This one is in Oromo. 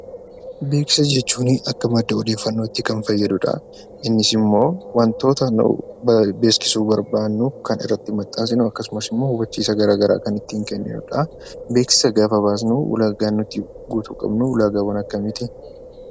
Beeksisa jechuun akka madda odeeffannootti kan fayyadudha. Innis immoo wantoota beeksisuu barbaadnu kan irratti maxxansinu akkasumas hubachiisa gara garaa kan ittiin kenninudha. Beeksisa gaafa baasnu ulaaga nuti guutuu qabnu ulaagaawwan akkamiiti?